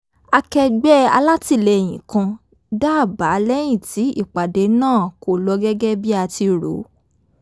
akẹgbẹ́ alátìlẹ́yìn kan dá àbá lẹ́yìn tí ìpàdé náà kò lọ gẹ́gẹ́ bí a ti rò